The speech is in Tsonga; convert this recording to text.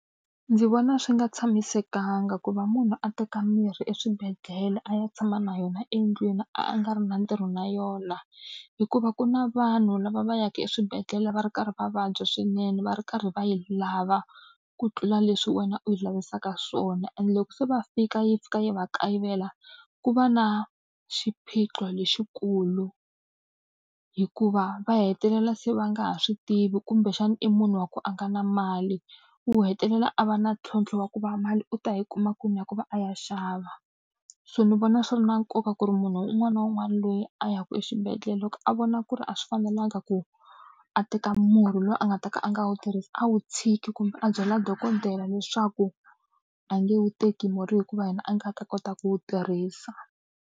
Ndzi vona swi nga tshamisekanga ku va munhu a teka mirhi eswibedhlele a ya tshama na yona endlwini a nga ri na ntirho na yona, hikuva ku na vanhu lava va yaka eswibedhlele va ri karhi va vabya swinene va ri karhi va yi lava ku tlula leswi wena u yi lavisaka swona. Ende loko se va fika yi fika yi va kayivela, ku va na xiphiqo lexikulu hikuva va hetelela se va nga ha swi tivi kumbexana i munhu wa ku a nga na mali, u hetelela ke a va na ntlhontlho wa ku va mali u ta yi kuma kwini ya ku va a ya xava. So ni vona swi ri na nkoka ku ri munhu un'wana na un'wana loyi a ya ku exibedhlele loko a vona ku ri a swi fanelanga ku a teka murhi loyi a nga ta ka a nga wu tirhisi a wu tshiki kumbe a byala dokodela leswaku, a nge wu teki murhi hikuva yena a nga ta kota ku wu tirhisa.